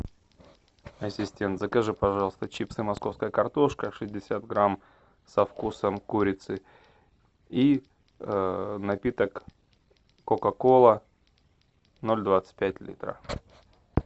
ассистент закажи пожалуйста чипсы московская картошка шестьдесят грамм со вкусом курицы и напиток кока кола ноль двадцать пять литра